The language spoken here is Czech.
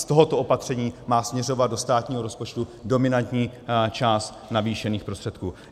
Z tohoto opatření má směřovat do státního rozpočtu dominantní část navýšených prostředků.